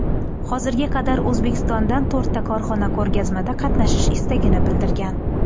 Hozirga qadar O‘zbekistondan to‘rtta korxona ko‘rgazmada qatnashish istagini bildirgan.